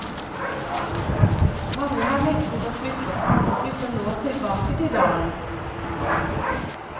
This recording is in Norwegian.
Mange har nektet å flytte, andre flytter nå tilbake til dalen.